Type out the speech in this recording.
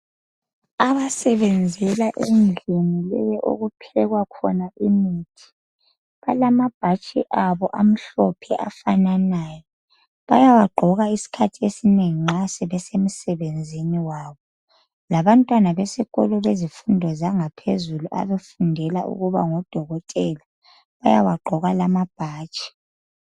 Abasebenzela endlini leyi okuphekwa khona imithi, balamabhatshi abo amhlophe afananayo. Bayawagqoka isikhathi esinengi nxa sebesemsebenzini wabo. Labantwana besikolo bezifundo zangaphezulu abafundela ukuba ngodokotela bayawagqoka lamabhatshi.